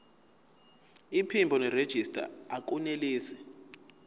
iphimbo nerejista akunelisi